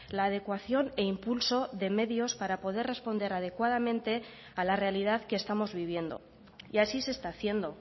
la adecuación e impulso de medios para poder responder adecuadamente a la realidad que estamos viviendo y así se está haciendo